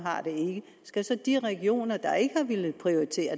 har det skal de regioner der ikke har villet prioritere